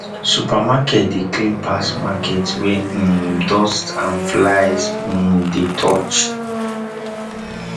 supermarket de clean pass market wey um dust and flies um dey touch